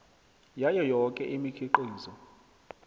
yayo yoke imikhiqizo